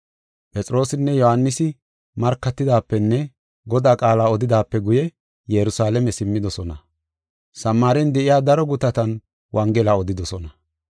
Phexroosinne Yohaanisi markatidaapenne Godaa qaala odidaape guye Yerusalaame simmidosona. Samaaren de7iya daro gutatan wongela odidosona.